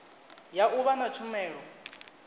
ya u vha na tshumelo